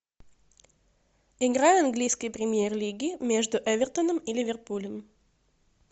игра английской премьер лиги между эвертоном и ливерпулем